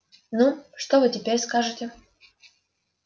ну что вы теперь скажете